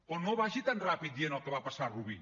però no vagi tan ràpid dient el que va passar a rubí